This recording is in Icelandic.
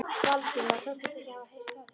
Valdimar þóttist ekki hafa heyrt athugasemdina.